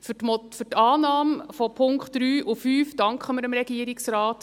Für die Annahme der Punkte 3 und 5 danken wir dem Regierungsrat.